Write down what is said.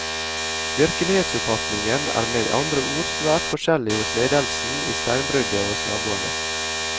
Virkelighetsoppfatningen er med andre ord svært forskjellig hos ledelsen i steinbruddet og hos naboene.